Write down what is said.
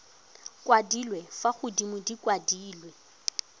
kwadilwe fa godimo di kwadilwe